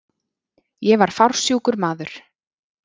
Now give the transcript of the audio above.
Ég var fársjúkur maður.